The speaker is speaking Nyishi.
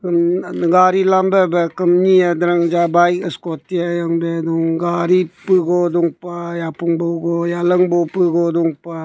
gare lambi bah nee ham darang jaka bike scooty ang beh dong gare puk gu dong pah yapong yalang pugu dong pah.